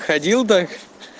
ходил да